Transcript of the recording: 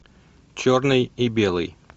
черный и белый